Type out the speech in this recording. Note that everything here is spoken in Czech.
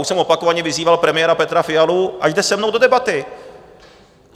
Už jsem opakovaně vyzýval premiéra Petra Fialu, ať jde se mnou do debaty.